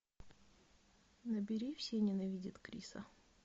набери все ненавидят криса